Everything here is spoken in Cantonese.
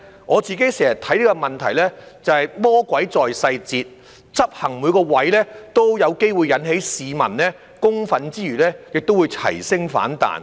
我經常看這個問題是魔鬼在細節，執行上每個位均有機會引起市民公憤，更會齊聲反彈。